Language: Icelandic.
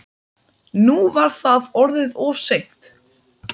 Nú var það orðið of seint.